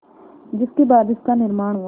जिसके बाद इसका निर्माण हुआ